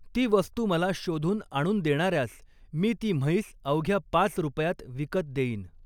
ती वस्तु मला शोधून आणून देणाऱ्यास मी ती म्हैस अवघ्या पाच रुपयात विकत देईन.